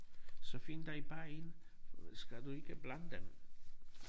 Så find dig bare en skal du ikke blande dem?